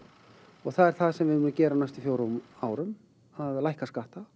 og það er það sem við munum gera á næstu fjórum árum að lækka skatta